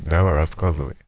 давай рассказывай